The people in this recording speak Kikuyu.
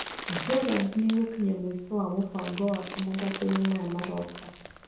Gerald nĩ egũkinya mũico wa mũbango wake mathakoinĩ maya maroka.